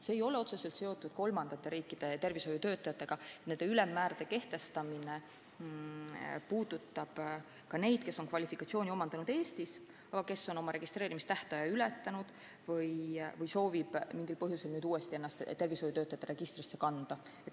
See ei ole otseselt seotud kolmandate riikide tervishoiutöötajatega – need ülemmäärad kehtivad ka neile, kes on kvalifikatsiooni omandanud Eestis, aga on oma registreerimistähtaja ületanud või soovivad mingil põhjusel ennast uuesti tervishoiutöötajate registrisse kanda.